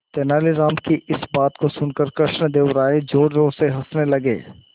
तेनालीराम की इस बात को सुनकर कृष्णदेव राय जोरजोर से हंसने लगे